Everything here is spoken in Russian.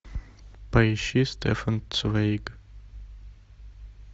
поищи стефан цвейг